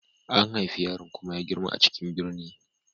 An haifi yaron kuma ya girma a cikin birni.